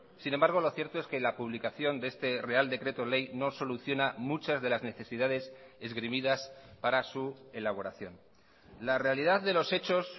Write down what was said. sin embargo lo cierto es que la publicación de este real decreto ley no soluciona muchas de las necesidades esgrimidas para su elaboración la realidad de los hechos